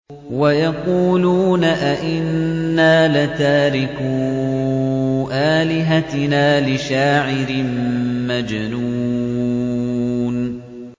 وَيَقُولُونَ أَئِنَّا لَتَارِكُو آلِهَتِنَا لِشَاعِرٍ مَّجْنُونٍ